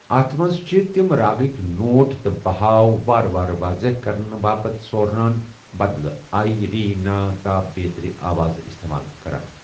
اَتھ منٛز چھِ تِم راگٕکۍ نوٹ تہٕ بہاؤ وارٕ وارٕ واضح کرنہٕ باپتھ سوارَن بدلہٕ آ، ری، نا، تا، بیترِ آوازٕ استعمال کران۔